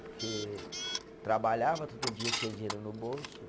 Porque trabalhava todo dia, tinha dinheiro no bolso.